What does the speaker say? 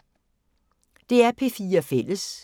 DR P4 Fælles